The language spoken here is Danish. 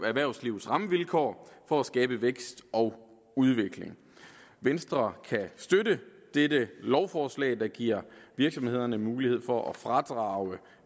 erhvervslivets rammevilkår for at skabe vækst og udvikling venstre kan støtte dette lovforslag der giver virksomhederne mulighed for at fradrage